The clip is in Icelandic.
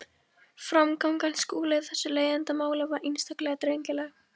Framganga Skúla í þessu leiðindamáli var einstaklega drengileg.